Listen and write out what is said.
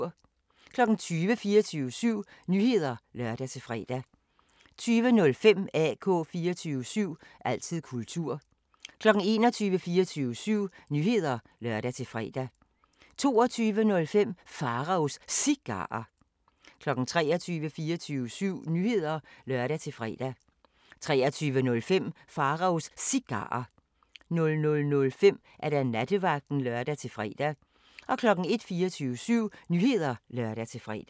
20:00: 24syv Nyheder (lør-fre) 20:05: AK 24syv – altid kultur 21:00: 24syv Nyheder (lør-fre) 21:05: Mikrofonholder (G) 22:00: 24syv Nyheder (lør-fre) 22:05: Pharaos Cigarer 23:00: 24syv Nyheder (lør-fre) 23:05: Pharaos Cigarer 00:05: Nattevagten (lør-fre) 01:00: 24syv Nyheder (lør-fre)